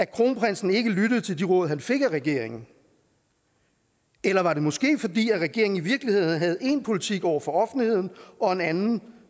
kronprinsen ikke lyttede til de råd han fik af regeringen eller var det måske fordi regeringen i virkeligheden havde én politik over for offentligheden og en anden